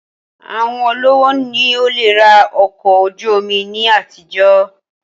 Àwọn olówó ni ó le rà ọkọ̀ ojú omi ní àtijọ́